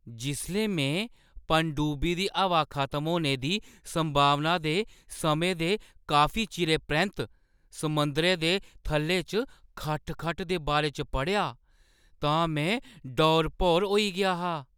जिसलै में पनडुब्बी दी हवा खत्म होने संभावना दे समें दे काफी चिरै परैंत्त समुंदरै दे थल्ले च खटखट दे बारे च पढ़ेआ तां में डौर-भौर होई गेआ हा।